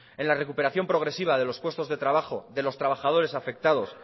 en la recuperación progresiva de los puestos de trabajo de los trabajadores afectados